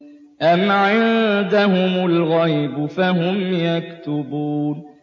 أَمْ عِندَهُمُ الْغَيْبُ فَهُمْ يَكْتُبُونَ